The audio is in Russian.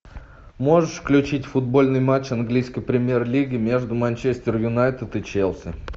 можешь включить футбольный матч английской премьер лиги между манчестер юнайтед и челси